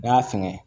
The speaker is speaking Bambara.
N'i y'a sɛgɛn